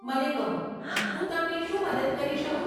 મને કહો, હું તમને શું મદદ કરી શકું?